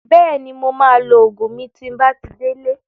Bẹ́ẹ̀ni, mo maa lo Ògùn mi tí n bá ti dé lé